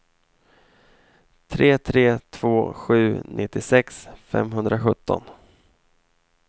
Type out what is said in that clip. tre tre två sju nittiosex femhundrasjutton